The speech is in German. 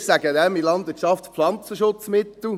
Wir sagen dem in der Landwirtschaft Pflanzenschutzmittel;